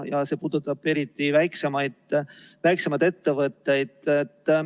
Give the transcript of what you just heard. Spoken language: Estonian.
Ja see puudutab eriti väiksemaid ettevõtteid.